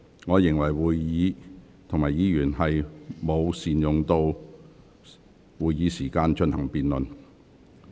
我認為議員沒有善用議會時間進行辯論。